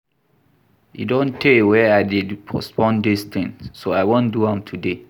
E don tey wey I dey postpone dis thing so I wan do am today